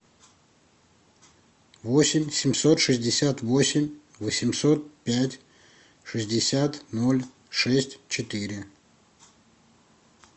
восемь семьсот шестьдесят восемь восемьсот пять шестьдесят ноль шесть четыре